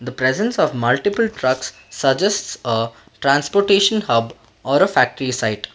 the presence of multiple trucks suggests a transportation hub or a factory site.